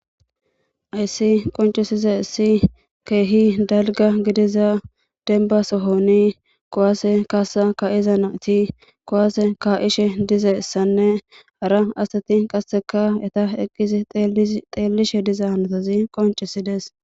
ayssi qoncisiza issi keehi dalga gidiza denbasohoni kowaase kaasa ka7iza naati kowaase ka7ishe dizaessanne hara asati qasseka eta eqqizi xeellishe diza hanotazi qoncisides